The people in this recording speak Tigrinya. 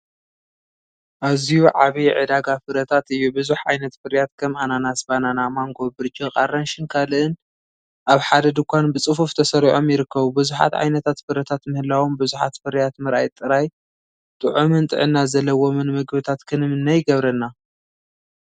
ኣዝዩ ዓቢይ ዕዳጋ ፍረታት እዩ። ብዙሕ ዓይነት ፍርያት ከም ኣናናስ፡ ባናና፡ ማንጎ፡ ብርጭ፡ ኣራንሺን ካልእን ኣብ ሓደ ድኳን ብጽፉፍ ተሰሪዖም ይርከቡ። ብዙሓት ዓይነታት ፍረታት ምህላዎም፡፡ ብዙሓት ፍርያት ምርኣይ ጥራይ ጥዑምን ጥዕና ዘለዎምን መግብታት ክንምነ ይገብረና።